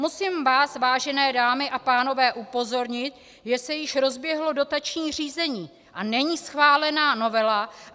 Musím vás, vážené dámy a pánové, upozornit, že se již rozběhlo dotační řízení a není schválena novela.